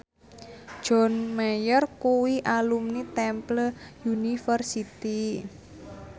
John Mayer kuwi alumni Temple University